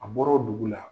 A bɔra o dugu la